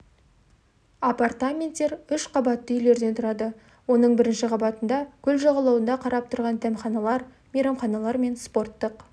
апартаменттер үш қабатты үйлерден тұрады оның бірінші қабатында көл жағалауына қарап тұрған дәмханалар мейрамханалар мен спорттық